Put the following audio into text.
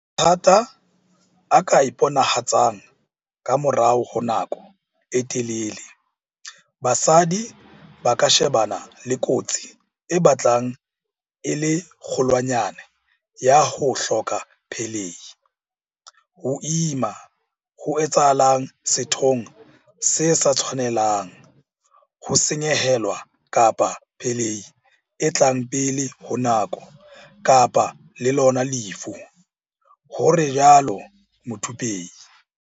Mathata a ka iponahatsang ka morao honako e telele, basadi ba ka shebana le kotsi e batlang e le kgolwanyane ya ho hloka pelehi, ho ima ho etsahalang sethong se sa tshwanelang, ho senyehelwa kapa pelehi e tlang pele ho nako, kapa le lona lefu, o rialo Muthupei.